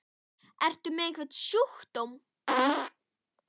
Ertu með einhvern sjúkdóm? spurði ég alvarlega hrædd.